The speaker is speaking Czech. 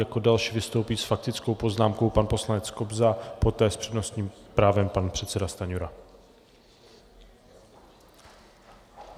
Jako další vystoupí s faktickou poznámkou pan poslanec Kobza, poté s přednostním právem pan předseda Stanjura.